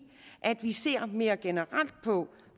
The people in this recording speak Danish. at vi skal se mere generelt på